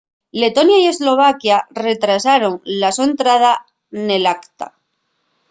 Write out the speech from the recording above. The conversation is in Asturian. letonia y eslovaquia retrasaron la so entrada nel acta